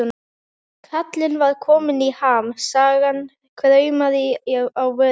Kallinn var kominn í ham, sagan kraumaði á vörum hans.